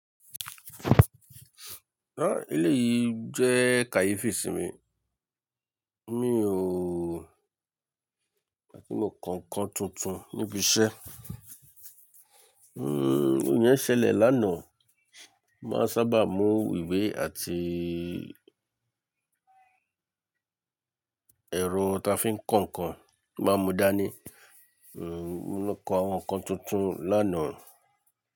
Ẹ̀, eleyìí jẹ́ kàyéfì sí mi, mi ò, àti mo kan ǹkan tuntun níbi iṣẹ́. Hmm, n yẹń ṣẹlẹ̀ lánàá, mo màá sábà mú ìwé àti ẹ̀rọ ta fi ń ko ǹkan mo máa mú dání. Hmm, lo kọ àwọn ǹkan tuntun lánàá.